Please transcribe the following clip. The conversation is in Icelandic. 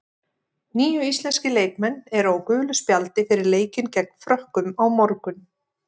Níu íslenskir leikmenn eru á gulu spjaldi fyrir leikinn gegn Frökkum á morgun.